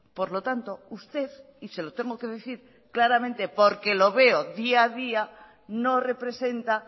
por lo tanto usted y se lo tengo que decir claramente porque lo veo día a día porque no representa